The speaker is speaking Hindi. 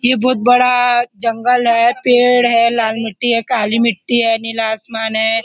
यह बहुत बड़ा जंगल है पेड़ है लाल मिटी है काली मिटी है नीला आसमान है।